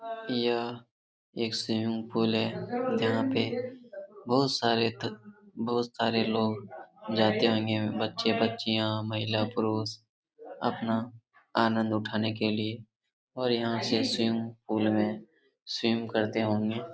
यह एक swimming pool है जहां पे बहुत सारे त बहुत सारे लोग जाते होंगे बच्चे बच्चियां महिला पुरुष अपना आनंद उठाने के लिए और यहां से स्विमिंग पूल मे स्विमिंग करते होंगे ।